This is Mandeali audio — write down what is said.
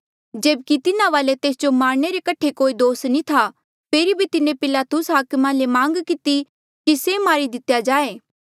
जेब्की तिन्हा वाले तेस जो मारणे रे कठे कोई दोष नी था फेरी भी तिन्हें पिलातुस हाकमा ले मांग किती कि से मारी दितेया जाए